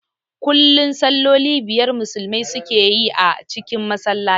Kullum salloli biyar Musulmai su ke yi a cikin Masallaci